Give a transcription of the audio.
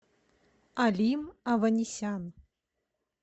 алим аванесян